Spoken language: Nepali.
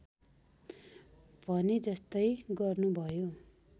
भने जस्तै गर्नुभयो